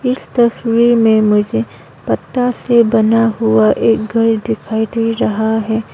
इस तस्वीर में मुझे पत्ता से बना हुआ एक घर दिखाई दे रहा है।